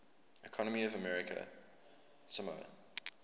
economy of american samoa